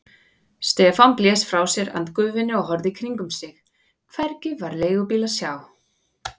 Stefán blés frá sér andgufunni og horfði í kringum sig, hvergi var leigubíl að sjá.